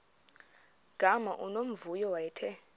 gama unomvuyo wayethe